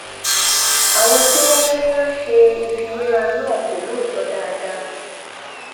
àwọn tí wọn ń wọn ń ṣe ìfiwéra náà kò lóòótọ dáadáa